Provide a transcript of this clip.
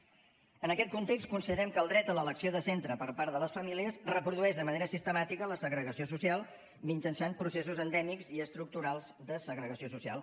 en aquest context considerem que el dret a l’elecció de centre per part de les famílies reprodueix de manera sistemàtica la segregació social mitjançant processos endèmics i estructurals de segregació social